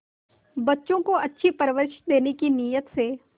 बच्चों को अच्छी परवरिश देने की नीयत से